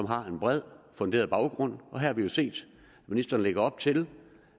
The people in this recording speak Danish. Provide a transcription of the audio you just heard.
har en bred funderet baggrund og her har vi jo set ministeren lægge op til